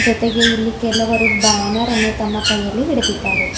ಜೊತೆಗೆ ಇಲ್ಲಿ ಕೆಲವರು ಬ್ಯಾನರ್ ಅನ್ನು ತಮ್ಮ ಕೈಯಲ್ಲಿ ಹಿಡದಿದ್ದಾರೆ.